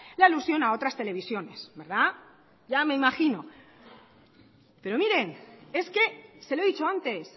la alusión a otras televisiones ya me imagino pero miren es que se lo he dicho antes